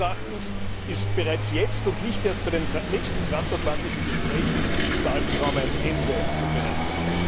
Meines Erachtens ist bereits jetzt und nicht erst bei den nächsten transatlantischen Gesprächen diesem Albtraum ein Ende zu bereiten.